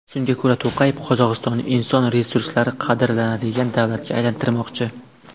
Shunga ko‘ra, To‘qayev Qozog‘istonni inson resurslari qadrlanadigan davlatga aylantirmoqchi.